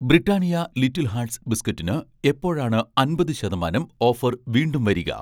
Britannia little hearts ബിസ്ക്കറ്റ്സിന് എപ്പോഴാണ് അമ്പതു ശതമാനം ഓഫർ വീണ്ടും വരിക?